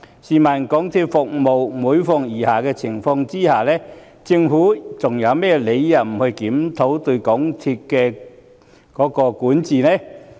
港鐵公司的服務每況愈下，試問政府還有甚麼理由不檢討對港鐵公司的管治呢？